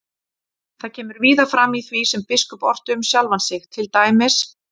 Það kemur víða fram í því sem biskup orti um sjálfan sig, til dæmis: